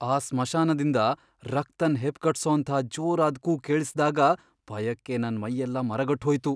ಆ ಸ್ಮಶಾನದಿಂದ ರಕ್ತನ್ ಹೆಪ್ಪ್ಗಟ್ಸೋಂಥ ಜೋರಾದ್ ಕೂಗ್ ಕೇಳಿಸ್ದಾಗ ಭಯಕ್ಕೆ ನನ್ ಮೈಯೆಲ್ಲ ಮರಗಟ್ಟ್ಹೋಯ್ತು.